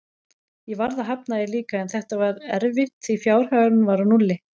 Ég varð að hafna því líka, en þetta var erfitt því fjárhagurinn var á núlli.